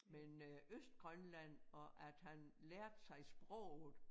Men øh Østgrønland og at han lærte sig sproget